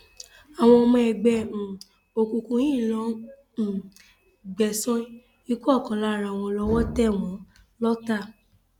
àwọn ọmọ ẹgbẹ um òkùnkùn yìí ń lọọ um gbẹsan ikú ọkan lára wọn lọwọ tẹ wọn lọọta